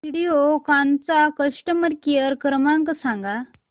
व्हिडिओकॉन चा customer care क्रमांक सांगा